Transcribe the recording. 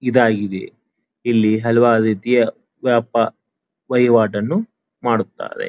ಇದಾಗಿದೆ ಇಲ್ಲಿ ಹಲವಾರು ರೀತಿಯ ವ್ಯಾಪಾ ವಹಿವಾಟನ್ನು ಮಾಡುತ್ತಾರೆ.